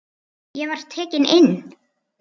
Ég var tekinn inn.